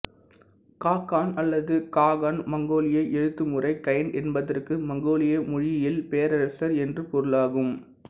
க கான் அல்லது ககான் மங்கோலிய எழுத்துமுறை கயன் என்பதற்கு மங்கோலிய மொழியில் பேரரசர் என்று பொருளாகும்